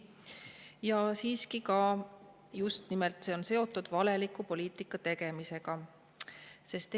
Ka see on just nimelt valeliku poliitika tegemise kohta.